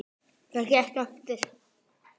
Það gekk eftir.